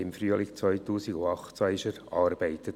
Dieses Projekt wurde im Frühling 2018 erarbeitet.